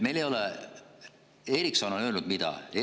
Ericsson on öelnud mida,?